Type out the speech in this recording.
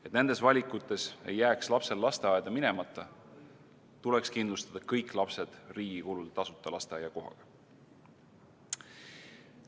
Et nendes valikutes ei jääks lapsel lasteaeda minemata, tuleks kindlustada kõik lapsed riigi kulul tasuta lasteaiakohaga.